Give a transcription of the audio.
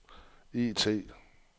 IT